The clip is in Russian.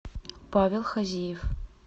павел хазиев